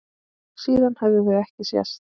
Síðan höfðu þau ekki sést.